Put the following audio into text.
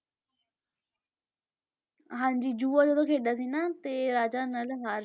ਹਾਂਜੀ ਜੂਆ ਜਦੋਂ ਖੇਡਦਾ ਸੀ ਨਾ ਤੇ ਰਾਜਾ ਨਲ ਹਾਰ,